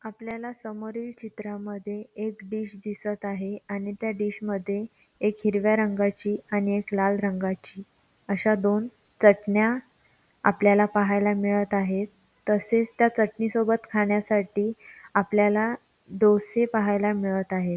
आपल्याला समोरील चित्रांमध्ये एक डिश दिसत आहे आणि त्या डिश मध्ये एक हिरव्या रंगाची आणि एक लाल रंगाची अशा दोन चटण्या आपल्याला पाहायला मिळत आहे तसेच त्या चटणी सोबत खाण्यासाठी आपल्याला डोसे पाहायला मिळत आहे.